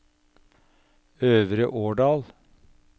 Øvre Årdal